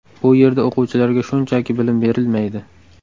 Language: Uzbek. Bu yerda o‘quvchilarga shunchaki bilim berilmaydi.